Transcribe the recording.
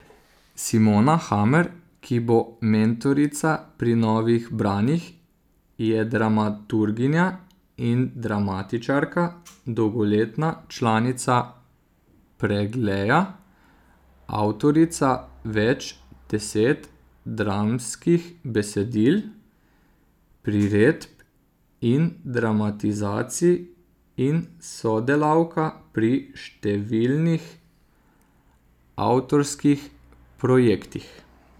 Simona Hamer, ki bo mentorica pri Novih branjih, je dramaturginja in dramatičarka, dolgoletna članica Pregleja, avtorica več deset dramskih besedil, priredb in dramatizacij in sodelavka pri številnih avtorskih projektih.